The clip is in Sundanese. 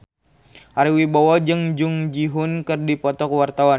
Ari Wibowo jeung Jung Ji Hoon keur dipoto ku wartawan